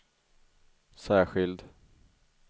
särskild